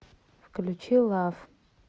включи лав